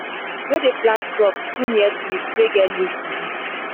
no dey plant crops too near trees wey get leaf disease.